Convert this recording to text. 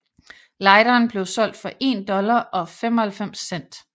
Lighteren blev solgt for 1 dollar og 95 cent